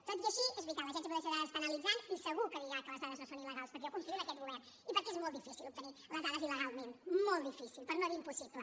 tot i així és veritat l’agència de protecció de dades està analitzant i segur que dirà que les dades no són il·legals perquè jo confio en aquest govern i perquè és molt difícil obtenir les dades il·legalment molt difícil per no dir impossible